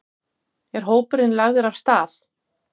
Er hópurinn lagður af stað?